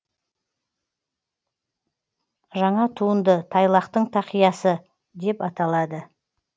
жаңа туынды тайлақтың тақиясы деп аталады